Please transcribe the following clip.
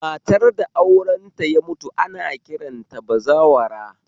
Matar da aurenta ya mutu ana kiranta da bazawara